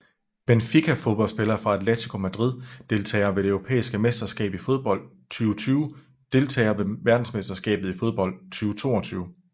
Benfica Fodboldspillere fra Atlético Madrid Deltagere ved det europæiske mesterskab i fodbold 2020 Deltagere ved verdensmesterskabet i fodbold 2022